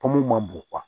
Pɔmu ma bon